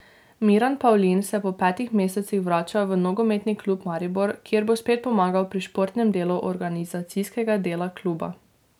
Miran Pavlin se po petih mesecih vrača v nogometni klub Maribor, kjer bo spet pomagal pri športnem delu organizacijskega dela kluba.